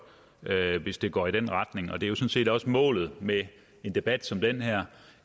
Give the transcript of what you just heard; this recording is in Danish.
hvis det går i den retning og det er jo sådan set også målet med en debat som den her